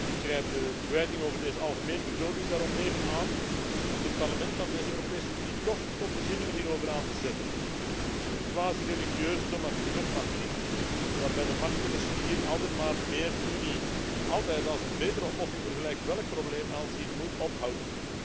Ik grijp de kwijting voor de algemene begroting daarom even aan om dit Parlement van deze Europese Unie toch tot bezinning hierover aan te zetten. De haast religieuze dogmatiek, waarbij de machthebbers hier altijd maar meer Unie als een betere oplossing voor gelijk welk probleem aanzien, moet ophouden.